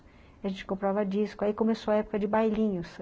A gente comprava disco, aí começou a época de bailinhos.